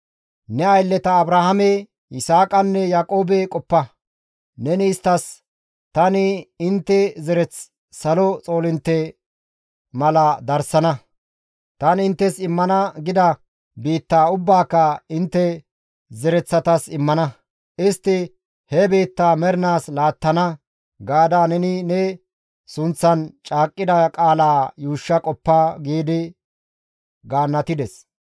Ne aylleta Abrahaame, Yisaaqanne Yaaqoobe qoppa; neni isttas, ‹Tani intte zereth salo xoolintte mala darsana; tani inttes immana gida biittaa ubbaaka intte zereththatas immana; istti he biittaa mernaas laattana› gaada neni ne sunththan caaqqida qaalaa yuushsha qoppa» giidi gaannatides.